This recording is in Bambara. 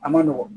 A ma nɔgɔn